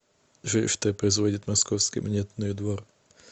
джой что производит московский монетный двор